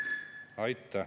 Aitäh!